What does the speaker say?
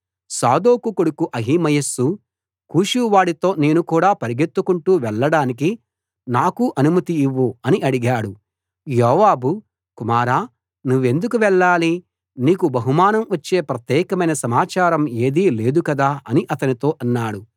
సాదోకు కొడుకు అహిమయస్సు కూషువాడితో నేను కూడా పరుగెత్తుకుంటూ వెళ్ళడానికి నాకు అనుమతి ఇవ్వు అని అడిగాడు యోవాబు కుమారా నువ్వెందుకు వెళ్ళాలి నీకు బహుమానం వచ్చే ప్రత్యేకమైన సమాచారం ఏదీ లేదుకదా అని అతనితో అన్నాడు